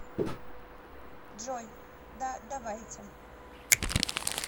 джой да давайте